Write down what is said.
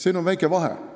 Siin on väike vahe.